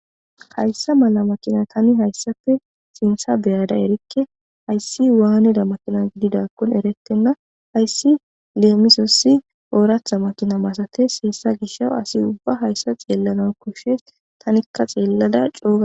Hayssa mala makina tani hayssafe sintha beyada erikke hayssi waaneda makina gididakkon erettenna hayssi leemisossi ooratha makina masates heessa gishaw asi ubba hayssa xeellana koshshes tanikka xeellada coa.